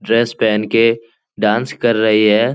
Dress पहन के dance कर रही है।